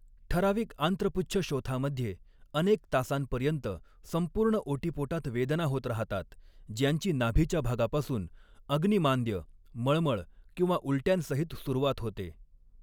ठराविक आंत्रपुच्छशोथामध्ये अनेक तासांपर्यंत संपूर्ण ओटीपोटात वेदना होत राहतात ज्यांची नाभीच्या भागापासून, अग्निमांद्य, मळमळ किंवा उलट्यांसहित सुरूवात होते.